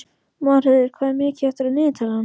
Marheiður, hvað er mikið eftir af niðurteljaranum?